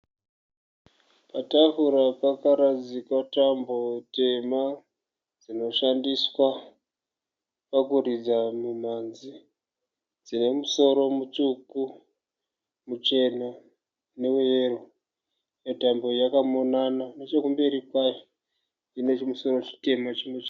Patafura pakaradzikwa tambo tema dzinóshandiswa pakuridza mumhanzi. Dzine musoro mutsvuku, muchena neweyero. Imwe tambo yakamonana. Nechekumberi kwayo ine chimusoro chitema.